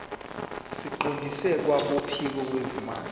siqondiswe kwabophiko lwezimali